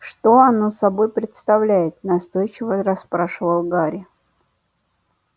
что оно собой представляет настойчиво расспрашивал гарри